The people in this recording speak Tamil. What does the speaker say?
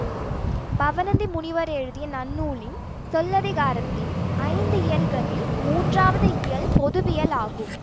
பவணந்தி முனிவர் எழுதிய நன்னூலின் சொல்லதிகாரத்தின் ஐந்து இயல்களில் மூன்றாவது இயல் பொதுவியல் ஆகும்